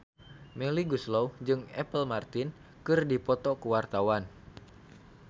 Melly Goeslaw jeung Apple Martin keur dipoto ku wartawan